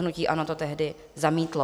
Hnutí ANO to tehdy zamítlo.